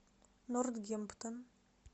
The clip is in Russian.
нортгемптон